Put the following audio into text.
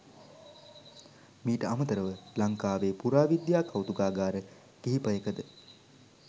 මීට අමතරව ලංකාවේ පුරාවිද්‍යා කෞතුකාගාර කිහිපයකද